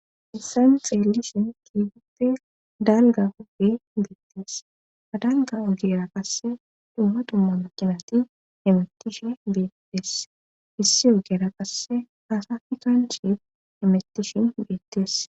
Issan xeelisin kiigute dalga hogi beettees adalga ogera qasse dumma dumma makinati hemettishin beettees issi ogera qasse haasafi kan shi hemettishin beettees.